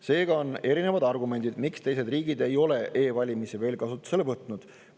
Seega on erinevad argumendid, miks teised riigid ei ole e-valimisi kasutusele võtnud.